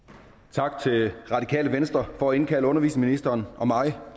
tak til radikale venstre for at indkalde undervisningsministeren og mig